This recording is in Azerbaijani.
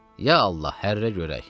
Ya Allah, hərrə görək.